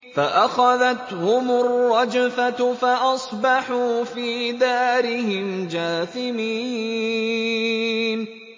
فَأَخَذَتْهُمُ الرَّجْفَةُ فَأَصْبَحُوا فِي دَارِهِمْ جَاثِمِينَ